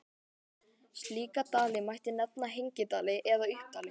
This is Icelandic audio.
Slíka dali mætti nefna hengidali eða uppdali.